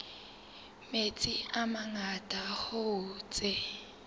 metsi a mangata hoo tse